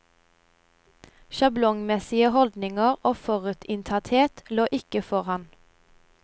Sjablongmessige holdninger og forutinntatthet lå ikke for han.